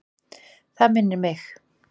Það minnir mig.